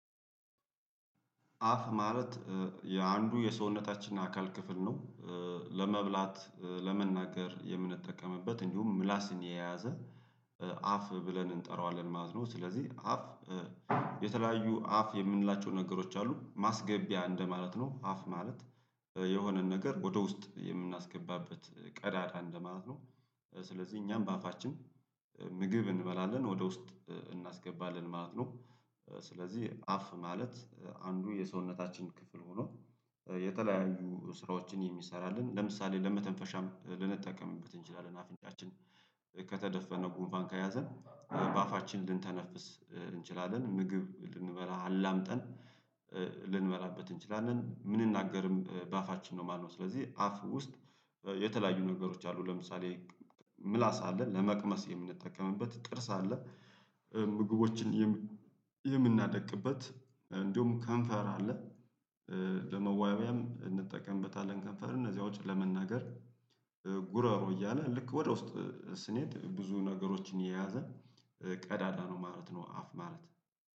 አፍ ማለት የአንዱ የሰውነታችን አካል ክፍል ነው። ለመብላት ለመናገር የምንጠቀምበት እንዲሁም ምላስን የያዘ አፍ ብለን እንጠራዋለን ማለት ነው። ስለዚህ አፍ የተለያዩ አፍ የምንላቸው ነገሮች አሉ ማስገቢያ እንደማለት ነው። አፍ ማለት የሆነን ነገር ወደ ውስጥ የምናስገባበት ቀዳዳ እንደማለት ነው። ስለዚህ እኛም በአፋችን ምግብ እንበላለን ወደ ውስጥ እናስገባለን ማለት ነው። ስለዚህ አፍ ማለት አንዱ የሰውነታችን ክፍል ሆኖ የተለያዩ ስራዎችን የሚሰራልን ለምሳሌ ለመተንፈሻም ልንጠቀምበት እንችላለን። አፍንጫችን ከተደፈነ ጉንፋን ከያዘን በአፋችን ልንተነፍስ እንችላለን ምግብ ልንበላ አላምጠን ልንበላበት እንችላለን። ምን እናገርም በአፋችን ነው ማለት ነው። ስለዚህ አፍ ውስጥ የተለያዩ ነገሮች አሉ ለምሳሌ ምላስ አለን ለመቅመስ የምንጠቀምበት ጥርስ አለ። ምግቦችን የምናደቅበት እንድውም ከንፈር አለ ለመዋቢያም እንጠቀምበታለን። ከንፈር ከዛ ውጪ ለመናገር ጉረሮ እያለ ልክ ወደ ውስጥ ስንሄድ ብዙ ነገሮችን የያዘ ቀዳዳ ነው ማለት ነው። አፍ ማለት